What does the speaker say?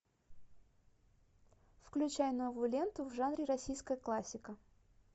включай новую ленту в жанре российская классика